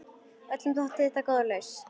Öllum þótti þetta góð lausn.